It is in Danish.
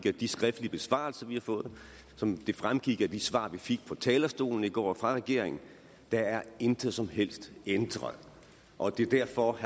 af de skriftlige besvarelser vi har fået og som det fremgik af de svar vi fik fra talerstolen i går fra regeringen der er intet som helst ændret og det er derfor at